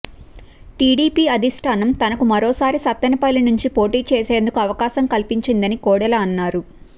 TDP అధిష్ఠానం తనకు మరోసారి సత్తెనపల్లి నుంచి పోటీచేసేందుకు అవకాశం కల్పించిందని కోడెల అన్నారు